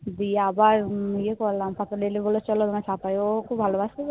দিয়ে আবার ইয়ে করলাম তারপর এলো বললো চলো ওখানে পাপাই ও খুব ভালোবাসতো তো